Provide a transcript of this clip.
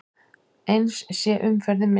Eins sé umferðin minni.